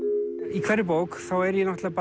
í hverri bók þá er ég náttúrulega